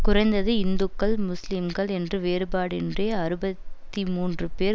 குறைந்தது இந்துக்கள் முஸ்லிம்கள் என்று வேறுபாடின்றி அறுபத்தி மூன்று பேர்